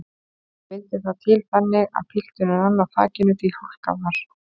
Vildi það til þannig að pilturinn rann á þakinu því hálka var.